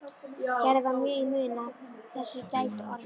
Gerði var mjög í mun að af þessu gæti orðið.